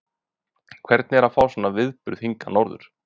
Hvernig er að fá svona viðburð hingað norður?